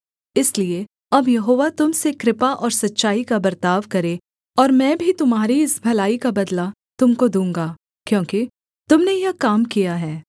इसलिए अब यहोवा तुम से कृपा और सच्चाई का बर्ताव करे और मैं भी तुम्हारी इस भलाई का बदला तुम को दूँगा क्योंकि तुम ने यह काम किया है